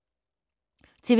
TV 2